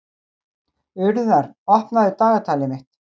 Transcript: Urðar, opnaðu dagatalið mitt.